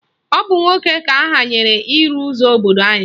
Ọ bụ nwoke ka ahanyere ịrụ ụzọ obodo anyị